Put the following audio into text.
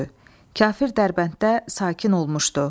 Kafir Dərbənddə sakin olmuşdu.